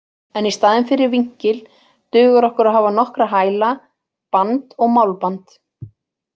En í staðinn fyrir vinkil dugir okkur að hafa nokkra hæla, band og málband.